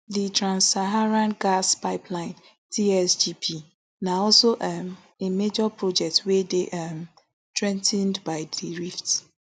di transsaharan gas pipeline tsgp na also um a major project wey dey um threa ten ed by di rift